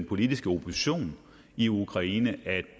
politiske opposition i ukraine at